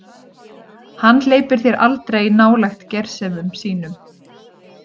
Hann hleypir þér aldrei nálægt gersemum sínum.